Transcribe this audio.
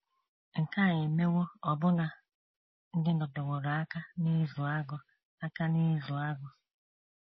Nke a emewo ọbụna ndị nọteworo aka n’ịzụ agụ aka n’ịzụ agụ.